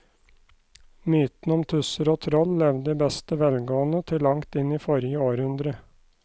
Mytene om tusser og troll levde i beste velgående til langt inn i forrige århundre.